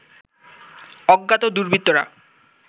অজ্ঞাত দুর্বৃত্তরা